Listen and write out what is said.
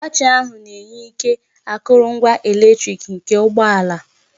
Batrị ahụ na-enye ike akụrụngwa eletrik nke ụgbọ ala.